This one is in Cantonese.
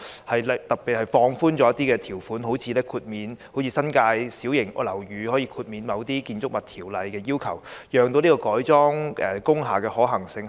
例如特別放寬一些條款，就像新界小型樓宇可獲豁免遵守某些《建築物條例》的要求般，以提高改裝工廈的可行性。